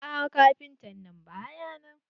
Aa kafintan ba ya nan.